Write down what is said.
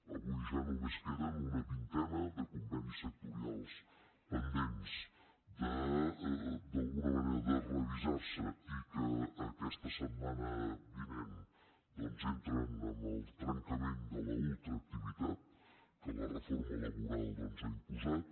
avui ja només queden una vintena de convenis sectorials pendents d’alguna manera de revisar se i que aquesta setmana vinent doncs entren amb el trencament de la ultra activitat que la reforma laboral doncs ha imposat